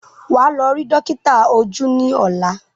Wà á lọ rí dọ́kítà ojú ní ọ̀la!